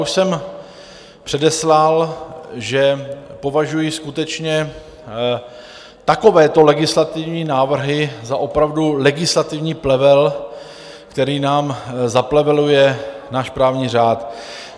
Už jsem předeslal, že považuji skutečně takovéto legislativní návrhy za opravdu legislativní plevel, který nám zapleveluje náš právní řád.